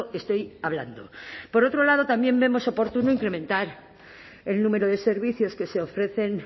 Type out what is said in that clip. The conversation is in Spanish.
estoy hablando por otro lado también vemos oportuno incrementar el número de servicios que se ofrecen